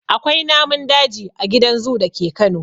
Akwai namun daji a gidan zoo dake Kano.